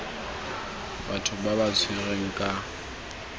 batho ba ba tshwerweng kwa